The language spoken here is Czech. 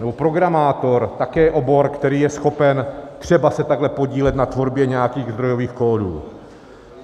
Nebo programátor, také obor, který je schopen se třeba takhle podílet na tvorbě nějakých zdrojových kódů.